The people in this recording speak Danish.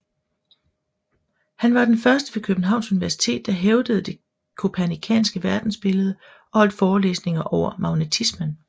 Han var den første ved Københavns Universitet der hævdede det kopernikanske verdensbillede og holdt forelæsninger over magnetismen